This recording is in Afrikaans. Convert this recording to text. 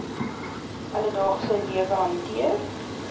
alledaagse lewe hanteer